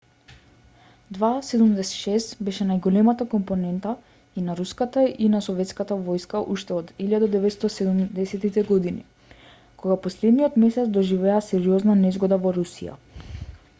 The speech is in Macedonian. ii-76 беше најголемата компонента и на руската и на советската војска уште од 1970-ите години која последниот месец доживеа сериозна незгода во русија